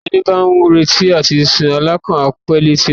Ẹni bá ń retí àtisùn alákàn á pé létí omi